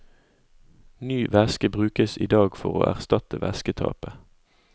Ny væske brukes i dag for å erstatte væsketapet.